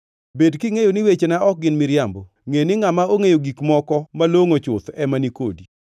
Bed kingʼeyo ni wechena ok gin miriambo; ngʼeni ngʼama ongʼeyo gik moko malongʼo chuth ema ni kodi.